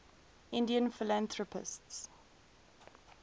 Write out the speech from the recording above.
indian philanthropists